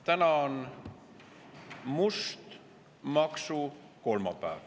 Täna on must maksukolmapäev.